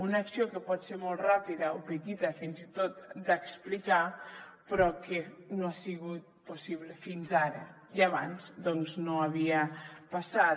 una acció que pot ser molt ràpida o petita fins i tot d’explicar però que no ha sigut possible fins ara i abans doncs no havia passat